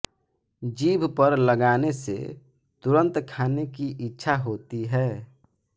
जीभ पर लगाने से तुरंत खाने की इच्छा होती है